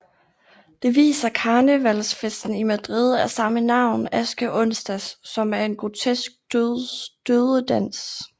Det viser karnevalsfesten i Madrid af samme navn askeonsdag som en grotesk dødedans